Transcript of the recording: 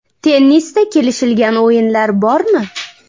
Tennisda kelishilgan o‘yinlar bormi?